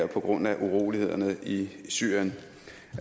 på grund af urolighederne i syrien